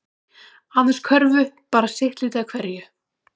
Aðeins körfu bara sitt lítið af hverju